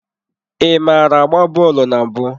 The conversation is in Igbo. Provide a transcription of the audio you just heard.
Ị maara agba bọọlụ na mbụ?